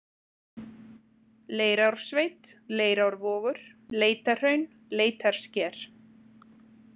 Leirársveit, Leirárvogur, Leitahraun, Leitarsker